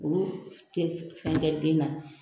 Olu tɛ fɛn kɛ den na